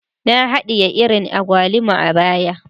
Na hadiye iri agwaluma a baya